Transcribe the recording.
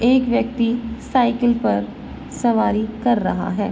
एक व्यक्ति साइकिल पर सवारी कर रहा है।